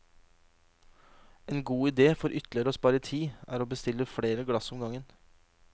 En god idé for ytterligere å spare tid, er å bestille flere glass om gangen.